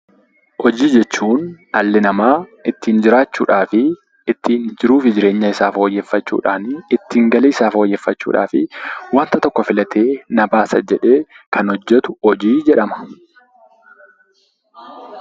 Hojii jechuun dhalli namaa ittin jiraachuudhaani fi ittiin jiruu fi jireenya isaa fooyyeffachuudhaan, ittiin galii isaa fooyyeffachuudhaaf wanta tokko filatee na baasa jedhee kan hojjetu hojii jedhama.